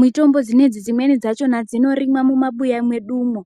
mitombo dzinedzi dzimwe dzachona dzinorimwa mumabuya mwedumo.